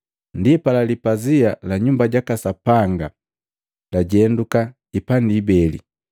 Ndipala, lipazia la Nyumba jaka Sapanga lajenduka hipandi ibele.